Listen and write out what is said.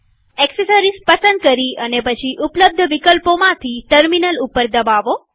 accessories પસંદ કરી અને પછી ઉપલબ્ધ વિકલ્પોમાંથી ટર્મિનલ ઉપર દબાવો